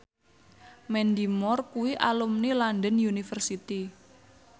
Mandy Moore kuwi alumni London University